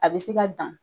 A bɛ se ka dan